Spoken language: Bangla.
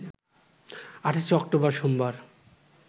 ২৮শে অক্টোবর সোমবার